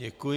Děkuji.